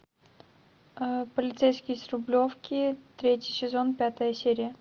полицейский с рублевки третий сезон пятая серия